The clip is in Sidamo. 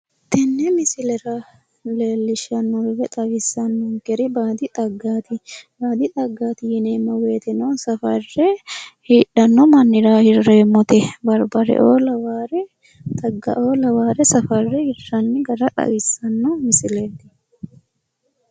Tenne misilera leellishshannohu woyi xawisannonkehu baadi xaggaati. Baadi xaggaati yineemmo woyiteno safarre hidhanno mannira hirreemmote. Barbareoo lawaare xaggaoo lawaare safarre hiranni hara xawissanno misileeti.